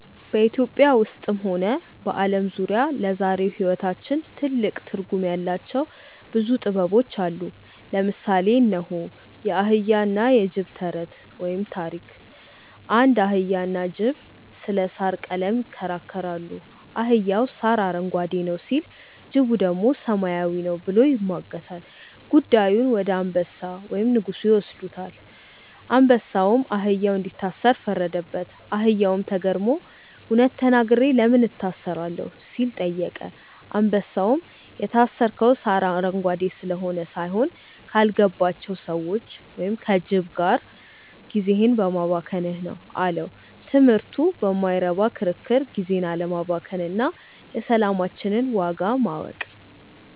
ኢትዮጵያ ውስጥም ሆነ በዓለም ዙሪያ ለዛሬው ሕይወታችን ትልቅ ትርጉም ያላቸው ብዙ ጥበቦች አሉ። ለምሳሌ እነሆ፦ የአህያና የጅብ ተረት (ታሪክ) አንድ አህያና ጅብ ስለ ሣር ቀለም ይከራከራሉ። አህያው "ሣር አረንጓዴ ነው" ሲል፣ ጅቡ ደግሞ "ሰማያዊ ነው" ብሎ ይሟገታል። ጉዳዩን ወደ አንበሳ (ንጉሡ) ይወስዱታል። አንበሳውም አህያውን እንዲታሰር ፈረደበት። አህያውም ተገርሞ "እውነት ተናግሬ ለምን እታሰራለሁ?" ሲል ጠየቀ። አንበሳውም "የታሰርከው ሣር አረንጓዴ ስለሆነ ሳይሆን፣ ካልገባቸው ሰዎች (ከጅብ) ጋር ጊዜህን በማባከንህ ነው" አለው። ትምህርቱ በማይረባ ክርክር ጊዜን አለማባከን እና የሰላማችንን ዋጋ ማወቅ።